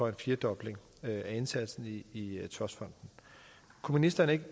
en firedobling af indsatsen i i trustfonden kunne ministeren ikke